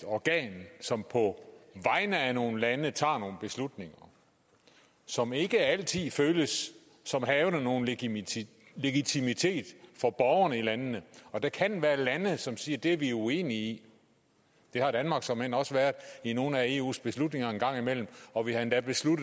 organ som på vegne af nogle lande tager nogle beslutninger som ikke altid føles som havende nogen legitimitet legitimitet for borgerne i landene og der kan være lande som siger at det er vi uenige i det har danmark såmænd også været i nogle af eus beslutninger en gang imellem og vi har endda